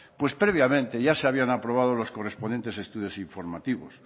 pues previamente ya se habían aprobado los correspondientes estudios informativos